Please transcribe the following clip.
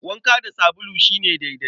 Wanka da sabulu shi ne daidai.